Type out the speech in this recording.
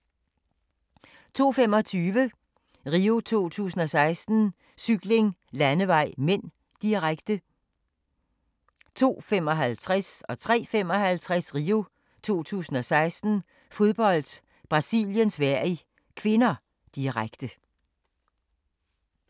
02:25: RIO 2016: Cykling, landevej (m), direkte 02:55: RIO 2016: Fodbold, Brasilien-Sverige (k), direkte 03:55: RIO 2016: Fodbold, Brasilien-Sverige (k), direkte